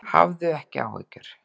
Hafðu ekki áhyggjur.